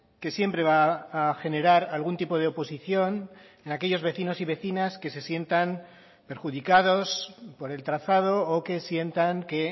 que siempre va a generar algún tipo de oposición en aquellos vecinos y vecinas que se sientan perjudicados por el trazado o que sientan que